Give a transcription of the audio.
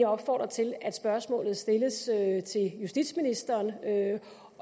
opfordre til at spørgsmålet stilles til justitsministeren